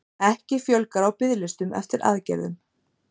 Ekki fjölgar á biðlistum eftir aðgerðum